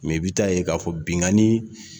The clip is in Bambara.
i bɛ ta'a yen k'a fɔ binnkanni